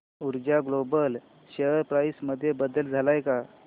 ऊर्जा global share price मध्ये बदल आलाय का